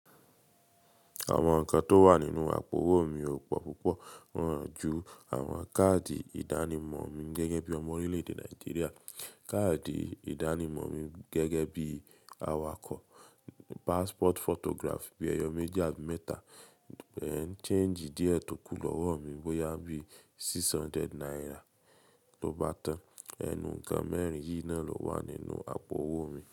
Àwọn nǹkan tó wà nínú àpò owó mi ò pọ̀ púpọ̀, wọ̀n ju àwọn káàdì ìdánimọ̀ mi gẹ́gẹ́ bí ọmọ orílẹ̀ẹ̀dè Nàìjíríà, káàdì ìdánimọ̀ mi gẹ́gẹ́ bí awakọ̀, passport photograph bíi ẹyọ méjì àbí mẹ́ta, change díẹ̀ tókù l'ọ́wọ́ mi bóyá bí i six hundred naira tó bá tán. Ẹnu nǹkan mẹ́rin yìí náà ló wà nínú àpò owó mi.